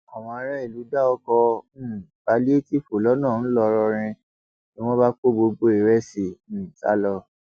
àwọn aráàlú dá ọkọ um pálíétììfù lọnà ńlọrọrìn ni wọn bá kó gbogbo ìrẹsì um sá lọ